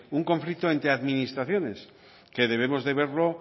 un conflicto entre administraciones que debemos de verlo